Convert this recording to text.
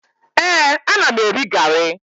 Ee, ana m eri garị